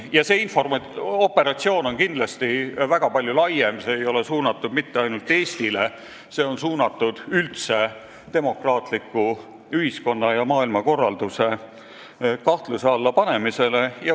Ja see operatsioon on kindlasti väga palju laiem: see ei ole suunatud mitte ainult Eestile, see on suunatud üldse demokraatliku ühiskonna- ja maailmakorralduse kahtluse alla panemisele.